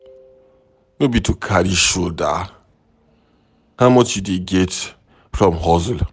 No be to carry shoulder, how much you dey get from hustle?